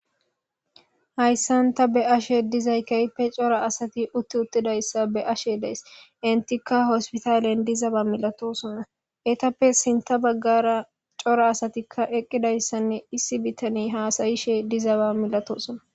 hayssan ta be ashe dizay kayppe cora asati utti uttidayssa be ashe dees entikka hospitaalien dizaba milatosona etappe sinta baggara cora asatikka eqqidayssanne issi bitani haasayishe dizaba milatosona